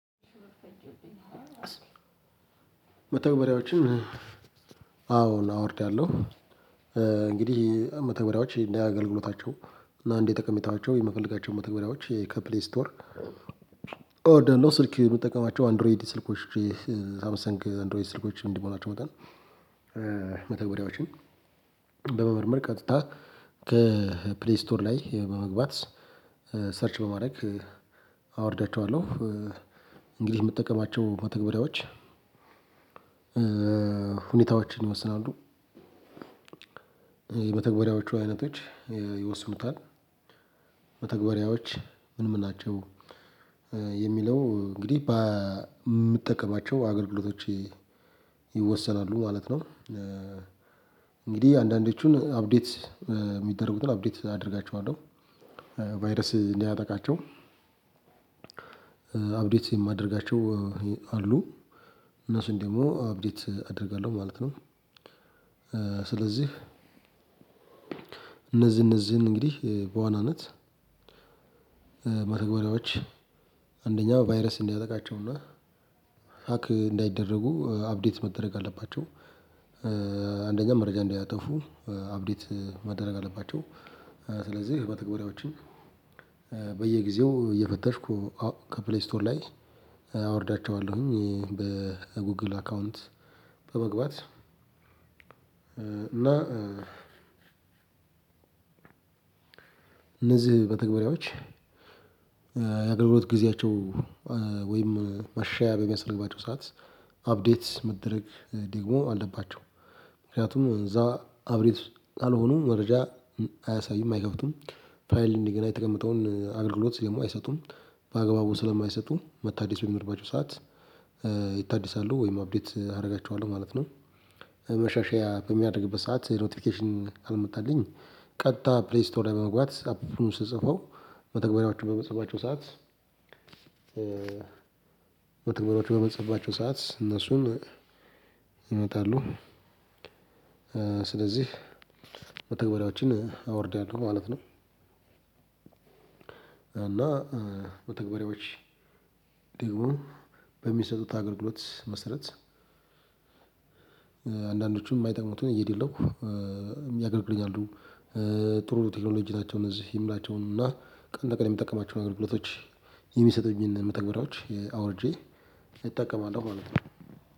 መተግበሪያዎችን አዎን አወርዳለሁ። እንግዲህ መተግበሪያዎች እንደአገልግሎታቸው እና እንደጠቀመታቸው የምፈልጋቸው መተግበሪያዎች የከፕሊ ስቶር አወርዳለሁ። ስልክ የምጠቀማቸው አንድሮይድ ስልኮች፣ ሳምሰንግ አንድሮይድ ስልኮች እንደመሆናቸው መጠን መተግበሪያዎችን በመመርመር ቀጥታ ከፕሌይ ስቶር ላይ በመግባት፣ ሰርች በማድረግ አወርዳቸዋለሁ። እንግዲህ የምጠቀማቸው መተግበሪያዎች ሁኔታዎችን ይመስላሉ። የመተግበሪያዎች አይነቶች ይወስኑታል። መተግባሪያዎች ምንም ናቸው የሚለው እንግዲህ በምጠቀማቸው አገልግሎቶች ይወሰናሉ ማለት ነው። እንግዲህ አንዳንዶቹን አፕዴት የሚደረጉትን አፕዴት አደርጋቸዋለሁ። ቫይረስ እንዳያጠቃቸው አፕዴት የማደርጋቸው አሉ። እነሱን ደግሞ አፕዴት አደርጋለሁ ማለት ነው። ስለዚህ እነዚህ እነዚህን እንግዲህ በዋናነት መተግበሪያዎች አንደኛው ቫይረስ እንዳያጠቃቸው ነው። ሀክ እንዳይደረጉ አፕዴት መደረግ አለባቸው። አንደኛ መረጃ እንዳያጠፉ አፕዴት መደረግ አለባቸው። ስለዚህ ህብረ በተግባራዎችም በየጊዜው እየፈተሽኩ ከፕሌይ ስቶር ላይ አወርዳለሁ። አወርዳቸዋለሁኝ። በጉግል አካውንት በመግባት እና እነዚህ በተግባራዎች የአገልግሎት ጊዜያቸው ወይም መሻሻያ በሚያስፈልግባቸው ሰዓት አፕዴት መደረግ ደግሞ አለባቸው። ምክንያቱም እዛ አፕዴት ካልሆኑ መረጃ አያሳዩም፣ አይከፍቱም፣ ፋይል እንደገና የተቀመጠውን አገልግሎት ደግሞ አይሰጡም። በአግባቡ ስለማይሰጡ መታደስ የሚመርባቸው ሰዓት ይታደሳሉ ወይም አፕዴት አደርጋቸዋለሁ ማለት ነው። መሻሻያ በሚያደርግበት ሰዓት ኖቲፊኬሽን ካልመጣልኝ ቀጥታ ፕሌይ ስቶሪ በመግባት አፑን ስትጽፈው በተግባሪያቸው በመጽሐፍባቸው ሰዓት መተግበሪያወቹ በምጽፍባቸው ሰዓት እነሱን ይመጣሉ። ስለዚህ በተግባሪዎችን አወርዳለሁ ማለት ነው። እና በተግባሪዎች ደግሞ በሚሰጡት አገልግሎት መሰረት አንዳንዶቹም የማይጠሙትን እየደለትኩ ያገልግልኛሉ። ጥሩ ቴክኖሎጂ ናቸው። እነዚህ ይምላቸውን እና ቀን በቀን የሚጠቀማቸውን አገልግሎቶች የሚሰጡብኝን መተግበሪያዎች አውርጄ እጠቀማለሁ ማለት ነው።